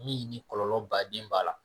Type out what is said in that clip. Min ni kɔlɔlɔ baden b'a la